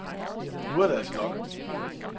Nu er det altså nok.